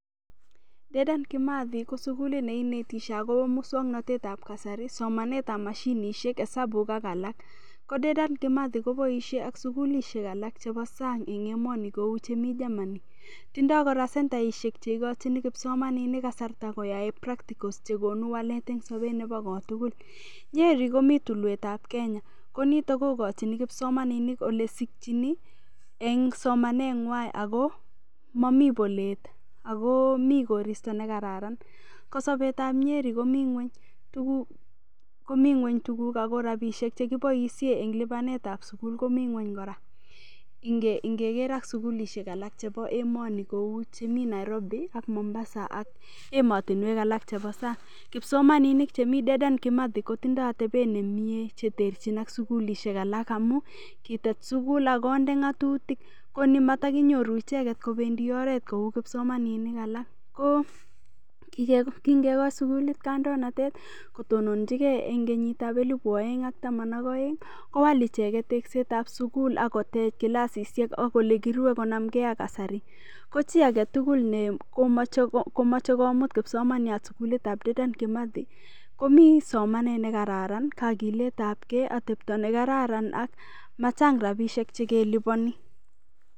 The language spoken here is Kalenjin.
Dedan Kimathi ko sukulit neinetishei akobo mosong'natetab kasari somanetab mashinishek hesabuk ak alak ko Dedan Kimathi koboishei ak sukulishek alak chebo sang' eng' emoni kou chemi Germany tindoi kora sentaishek cheikochini kipsomaninik kasarta koyae practicals chekonu walet eng' sobet nebo kotugun Nyeri komito tulwetab kenya konito kokochini kipsomaninik ole sikchini eng' somaneng'wai ako mami polet akomi koristo nekararan ko sobetab Nyeri komi ng'weny tuguk komi ng'weny tuguk ako rapishek chekiboishe eng' lipanetab sukul komi ng'weny kora ngele ak sukulishek alak chebo emoni kou chemi Nairobi ak Mombasa ak emotinwek alak chebo sang' kipsomaninik chemi Dedan Kimathi kotindoi atebet nemie cheterchin ak sukulishek alak amu kitet sukul akonde ng'atutik koni matakinyoru icheget kobendi oret kou kipsomaninik alak ko kingekoch sukulit kandoinatet kotonjigei eng' kenyitab elibu oeng' ak taman ak oeng' kowal icheget teksetab sukul ako tech kilasishek ak ole kiruei konamgei ak kasari ko chi agetugul nemochei komut kipsomaniat sukulitab Dedan Kimathi komi somanet nekararan kakiletab gei atepto nekararan ak machang' rapishek chekelipani